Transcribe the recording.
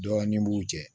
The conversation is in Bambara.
Dɔɔnin b'u cɛ